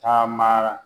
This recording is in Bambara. Taamara